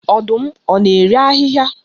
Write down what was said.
Ọdụm ọ na-eri ahịhịa